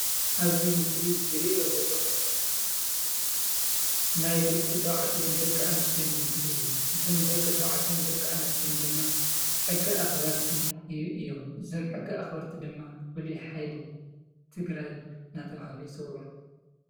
ኣብዚ ምስሊ ዝሪኣ ዘለኹ ናይ ደቂ ኣነስትዮን ደቂ ተባዕትዮን ምስሊ እዩ፡፡ እዞም ደቂ ኣነስትዮን ደቂ ተባዕትዮን ድማ ሕዚ ኣኽበርቲ እዮም፡፡ እዞም ሕጊ ኣኽበርቲ ድማ ፍሉይ ሓይሊ ትግራይ እናተባህሉ ይፅውዑ፡፡